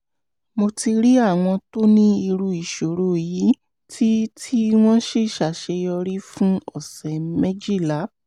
mo ti rí àwọn tó ní irú ìṣòro yìí tí tí wọ́n sì ṣàṣeyọrí fún ọ̀sẹ̀ méjìlá